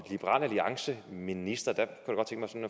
liberal alliance minister at